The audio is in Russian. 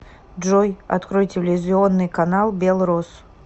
джой открой телевизионный канал белрос